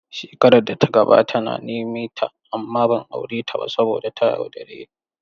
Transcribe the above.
Shekarar da ta gabata na nemeta amma ban aure ta ba saboda ta yaudare ni.